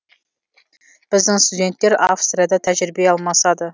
біздің студенттер австрияда тәжірибе алмасады